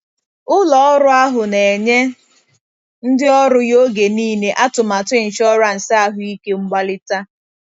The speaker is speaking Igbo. Ụlọ ọrụ ahụ na-enye ndị ọrụ ya oge niile atụmatụ ịnshọransị ahụike mgbalita.